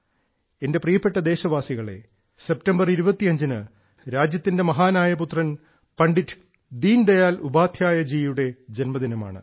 എന്റെ പ്രിയപ്പെട്ട ദേശവാസികളേ സെപ്റ്റംബർ 25ന് രാജ്യത്തിന്റെ മഹാനായ പുത്രൻ ശ്രീ പണ്ഡിറ്റ് ദീൻദയാൽ ഉപാധ്യായയുടെ ജന്മദിനമാണ്